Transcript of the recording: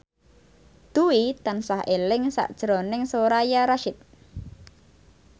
Dwi tansah eling sakjroning Soraya Rasyid